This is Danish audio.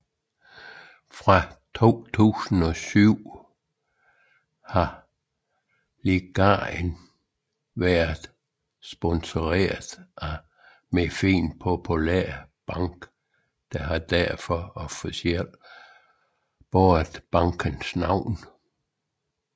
Fra 2007 har ligaen været sponseret af Marfin Popular Bank og har derfor officielt båret bankens navn